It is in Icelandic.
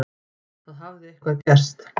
Það hafði eitthvað gerst.